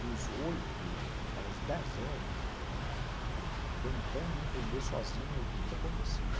dos oito aos dez anos, tentando entender sozinho o que que acontecia.